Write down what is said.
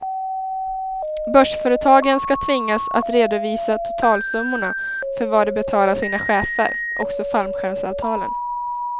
Börsföretagen ska tvingas att redovisa totalsummorna för vad de betalar sina chefer, också fallskärmsavtalen.